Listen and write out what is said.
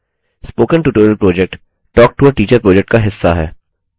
spoken tutorial project talktoateacher project का हिस्सा है